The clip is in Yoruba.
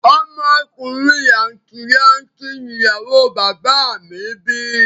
Ọmọ ọkùnrin làǹtì lanti ni ìyàwó o bàbá à mi bí